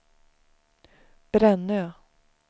Brännö